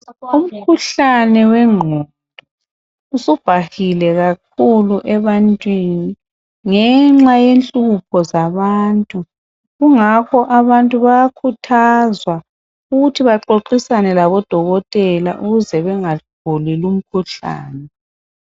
Umkhuhlane wengqondo usubhahile kakhulu ebantwini ngenxa yenhlupho zabantu. Kungakho abantu bayakhuthazwa ukuthi baxoxisane labodokotela ukuze bengaguli lumkhuhlane.